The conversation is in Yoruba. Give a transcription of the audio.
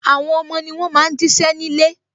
Àwọn ọmọ ni wọn máa ń jí ṣẹ́ ní ilé